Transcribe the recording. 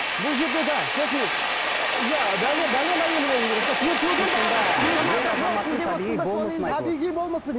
бұл жерде де сосын ы иә әйелі болуы керек те